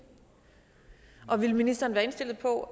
og vil ministeren være indstillet på